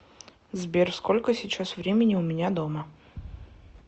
сбер сколько сейчас времени у меня дома